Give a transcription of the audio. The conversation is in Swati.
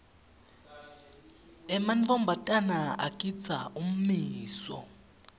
emantfombatana agindza ummiso